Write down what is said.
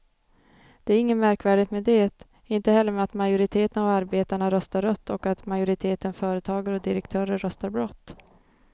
Det är inget märkvärdigt med det, inte heller med att majoriteten av arbetarna röstar rött och att majoriteten företagare och direktörer röstar blått.